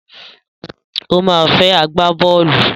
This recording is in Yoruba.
Ó ma fẹ́ agbábọ́ọ̀lù.